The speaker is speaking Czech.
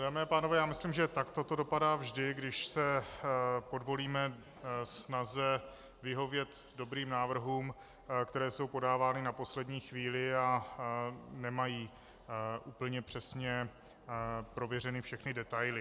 Dámy a pánové, já myslím, že takto to dopadá vždy, když se podvolíme snaze vyhovět dobrým návrhům, které jsou podávány na poslední chvíli a nemají úplně přesně prověřeny všechny detaily.